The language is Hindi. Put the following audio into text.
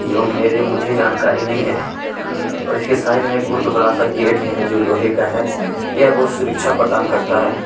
जो मेरे मुझे जानकारी नहीं है और इसके साइड मे बहुत बड़ा सा गेट हैं जो लोहै का है यह बहुत सुरक्षा प्रदान करता हैं।